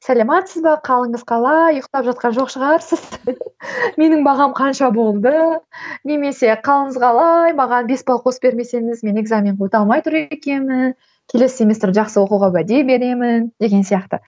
сәлеметсіз бе қалыңыз қалай ұйқтап жатқан жоқ шығарсыз менің бағам қанша болды немесе қалыңыз қалай маған бес бал қосып бермесеңіз мен экзаменге өте алмай тұр екенмін келесі семестрді жақсы оқуға уәде беремін деген сияқты